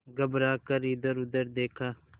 घबरा कर इधरउधर देखा